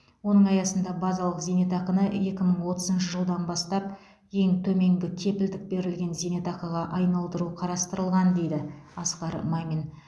оның аясында базалық зейнетақыны екі мың отызыншы жылдан бастап ең төменгі кепілдік берілген зейнетақыға айналдыру қарастырылған дейді асқар мамин